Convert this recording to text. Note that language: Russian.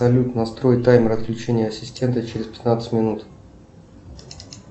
салют настрой таймер отключения ассистента через пятнадцать минут